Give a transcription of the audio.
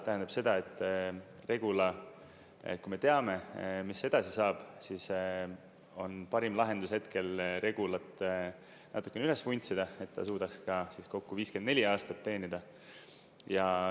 Tähendab seda, et Regula, et kui me teame, mis edasi saab, siis on parim lahendus hetkel Regulat natukene üles vuntsida, et ta suudaks kokku 54 aastat teenida.